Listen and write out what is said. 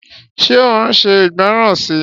Ṣé ó ṣe ìgbọ́ràn si?